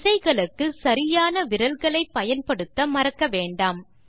விசைகளுக்கு சரியான விரல்களை பயன்படுத்த மறக்க வேண்டாம்